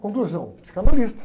Conclusão, psicanalista.